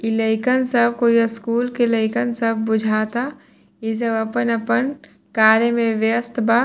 इ लइकन सब कोई स्कूल के लइकन सब बुझाता इ सब अपन-अपन कार्य में व्यस्त बा।